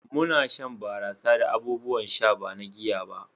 muna shan barasa da abubuwan sha ba na giya ba